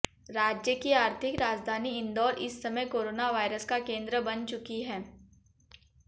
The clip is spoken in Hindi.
राज्य की आर्थिक राजधानी इंदौर इस समय कोरोना वायरस का केंद्र बन चुकी है